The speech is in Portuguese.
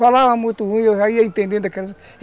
Falava muito ruim, eu já ia entendendo aquilo.